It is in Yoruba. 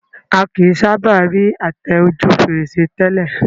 A kìí sábà rí àtẹ ojú fèrèsé tẹ́lẹ̀